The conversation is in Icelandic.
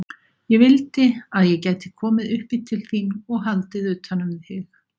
Ég vildi að ég gæti komið upp í til þín og haldið utan um þig.